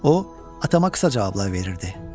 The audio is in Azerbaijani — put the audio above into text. O atama qısa cavablar verirdi.